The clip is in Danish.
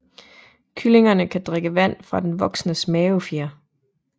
Kyllingerne kan drikke vand fra den voksnes mavefjer